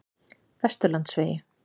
Vesturlandsvegi